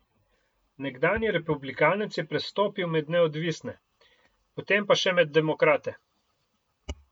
Nekdanji republikanec je prestopil med neodvisne, potem pa še med demokrate.